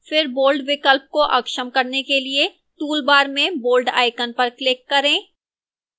फिर bold विकल्प को अक्षम करने के लिए toolbar में bold icon पर click करें